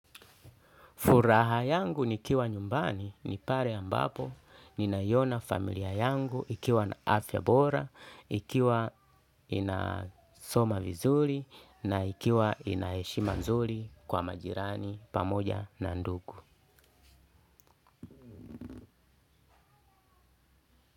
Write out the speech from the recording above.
Furaha yangu nikiwa nyumbani ni pale ambapo ninaiona familia yangu ikiwa na afya bora, ikiwa inasoma vizuri na ikiwa ina heshima nzuri kwa majirani pamoja na ndugu.